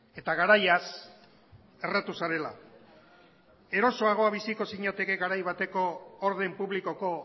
eta garaiaz erratu zarela erosoago biziko zinateke garai bateko orden publikoko